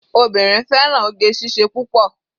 Obìnrin fẹ́ràn oge síṣe púpọ̀.